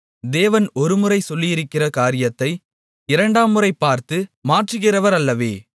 தேவன் ஒரு முறை சொல்லியிருக்கிற காரியத்தை இரண்டாம் முறை பார்த்து மாற்றுகிறவரல்லவே